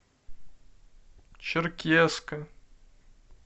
черкесска